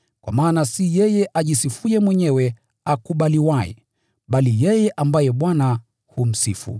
Kwa maana si yeye ajisifuye mwenyewe akubaliwaye, bali yeye ambaye Bwana humsifu.